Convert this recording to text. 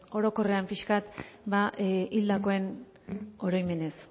orokorrean pixka bat hildakoen oroimenez